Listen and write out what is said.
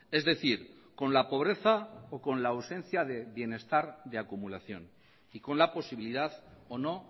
es decir con la pobreza o con la ausencia de bienestar de acumulación y con la posibilidad o no